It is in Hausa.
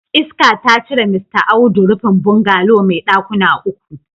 Iska ta cire Mista Audu rufin bungalow mai dakuna uku.